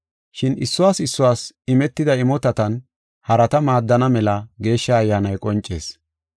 Shin issuwas issuwas imetida imotatan harata maaddana mela Geeshsha Ayyaanay qoncees.